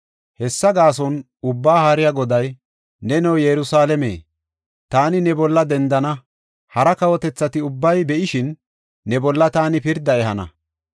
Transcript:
Hessa gaason, Ubbaa Haariya Goday, “Neno, Yerusalaame, taani ne bolla dendana; hara kawotethati ubbay be7ishin, ne bolla taani pirdaa ehana.